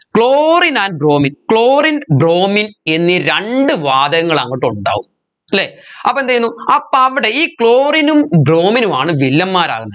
chlorine and bromine chlorine bromine എന്നീ രണ്ട് വാതകങ്ങൾ അങ്ങട്ട് ഉണ്ടാവും അല്ലെ അപ്പോ എന്തുചെയ്യുന്നു അപ്പോ അവിടെ ഈ chlorine ഉം bromine ഉമാണ് വില്ലന്മാരാവുന്നെ